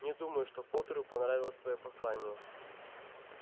не думаю что поттеру понравилось твоё послание